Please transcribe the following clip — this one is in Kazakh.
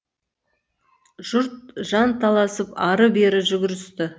жұрт жан таласып ары бері жүгірісті